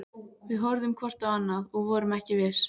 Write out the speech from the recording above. Við horfðum hvort á annað- og vorum ekki viss.